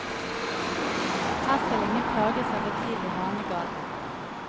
Her skal ingen plages av for tidlig hanegal.